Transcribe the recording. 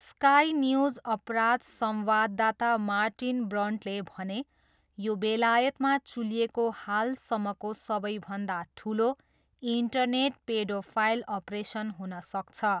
Sky News अपराध संवाददाता Martin Brantley भने, यो बेलायतमा चुलिएको हालसम्मको सबैभन्दा ठुलो इन्टरनेट पेडोफाइल अपरेसन हुन सक्छ।